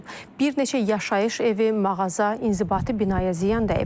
Bir neçə yaşayış evi, mağaza, inzibati binaya ziyan dəyib.